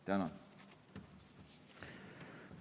Tänan!